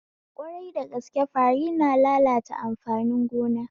Ƙwarai dagaske fari na lalata amfanin gona